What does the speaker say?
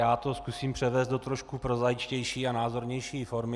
Já to zkusím převést do trošku prozaičtější a názornější formy.